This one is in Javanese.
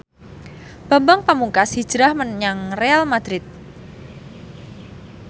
Bambang Pamungkas hijrah menyang Real madrid